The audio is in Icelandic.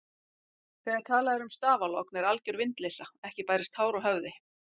Þegar talað er um stafalogn er alger vindleysa, ekki bærist hár á höfði.